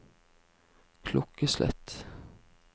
klokkeslett